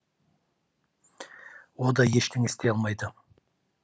о да ештеңе істей алмайды